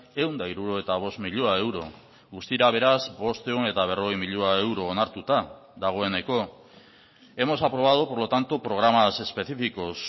ehun eta hirurogeita bost milioi euro guztira beraz bostehun eta berrogei milioi euro onartuta dagoeneko hemos aprobado por lo tanto programas específicos